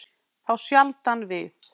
Þá sjaldan við